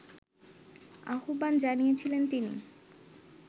আহ্বান জানিয়েছিলেন তিনি